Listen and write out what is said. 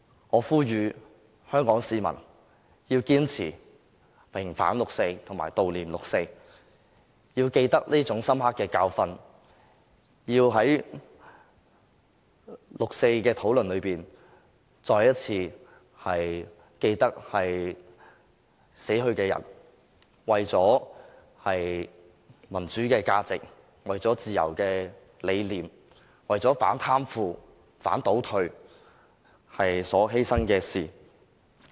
我呼籲香港市民要堅持平反六四及悼念六四，要記得這深刻的教訓，要在六四的討論中，再次緊記死去的人為了民主價值，為了自由的理念，為了反貪腐、反倒退而所作出的犧牲。